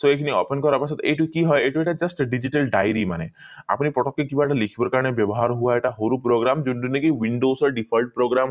so এই খিনি open কৰাৰ পিছত এইটো কি হয় এইটো এটা just digital diary মানে আপুনি পতকে কিবা এটা লিখিবৰ কাৰণে ব্যৱহাৰ হোৱা এটা সৰু program যনটো নেকি windows default program